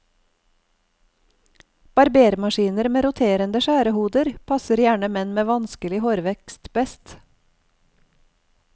Barbermaskiner med roterende skjærehoder passer gjerne menn med vanskelig hårvekst best.